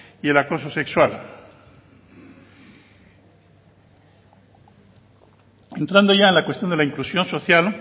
y el acoso sexual entrando ya en la cuestión de la inclusión social